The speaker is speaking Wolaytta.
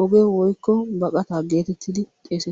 oge woykko baqataa geetettiidi xeesettees.